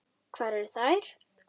Hvar eru þær?